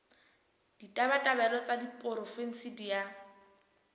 ditabatabelo tsa diporofensi di a